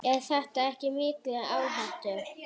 Er þetta ekki mikil áhætta?